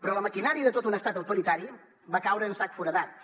però la maquinària de tot un estat autoritari va caure en sac foradat